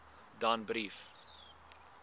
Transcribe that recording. danbrief